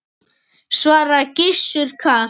svaraði Gizur kalt.